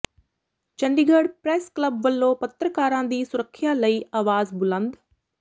Chandigarh press club ਵੱਲੋਂ ਪੱਤਰਕਾਰਾਂ ਦੀ ਸੁਰੱਖਿਆ ਲਈ ਆਵਾਜ਼ ਬੁਲੰਦ